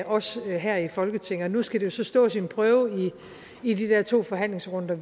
også her i folketinget nu skal det jo så stå sin prøve i de to forhandlingsrunder